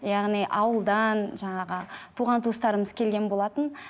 яғни ауылдан жаңағы туған туыстарымыз келген болатын